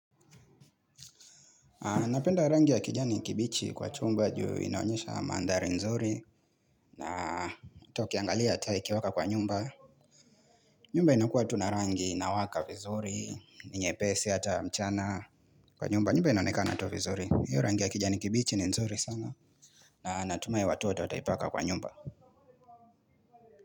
Napenda rangi ya kijani kibichi kwa chumba juu inaonyesha mandhari nzuri. Na hata ukiangalia taa ikiwaka kwa nyumba nyumba inakuwa tu na rangi inawaka vizuri, ni nyepesi hata mchana. Kwa nyumba, nyumba inaonekana to vizuri. Hiyo rangi ya kijani kibichi ni nzuri sana. Na natumai watu wote wataipaka kwa nyumba.